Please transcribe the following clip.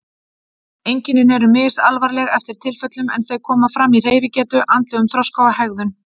Einkennin eru misalvarleg eftir tilfellum en þau koma fram í hreyfigetu, andlegum þroska og hegðun.